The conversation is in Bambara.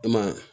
I ma ye